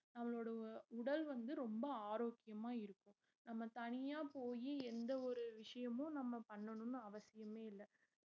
நம்மளோட உடல் வந்து ரொம்ப ஆரோக்கியமா இருக்கும் நம்ம தனியா போயி எந்த ஒரு விஷயமும் நம்ம பண்ணணும்னு அவசியமே இல்ல